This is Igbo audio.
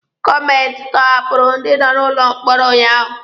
Gọọmenti tọhapụrụ ndị nọ n'ụlọ mkpọrọ ụnyaahụ.